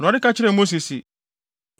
Awurade ka kyerɛɛ Mose se,